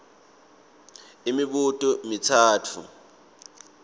a imibuto mitsatfu